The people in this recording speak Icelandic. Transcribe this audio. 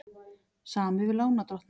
Samið við lánardrottna